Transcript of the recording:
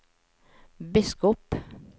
biskop